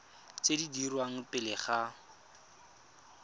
tse di dirwang pele ga